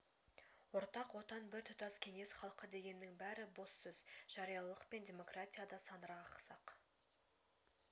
ортақ отан бір тұтас кеңес халқы дегеннің бәрі бос сөз жариялылық пен демократия да сандырақ ақсақ